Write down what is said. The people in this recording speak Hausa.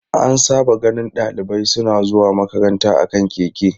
An saba ganin dalibai suna zuwa makaranta a kan keke.